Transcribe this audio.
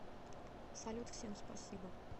салют всем спасибо